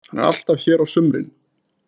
Hann er alltaf hér á sumrin.